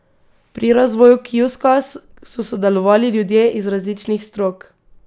Pri razvoju kioska so sodelovali ljudje iz različnih strok.